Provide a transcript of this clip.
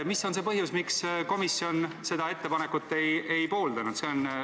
Mis põhjusel komisjon seda ettepanekut ei pooldanud?